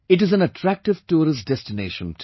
It is an attractive tourist destination too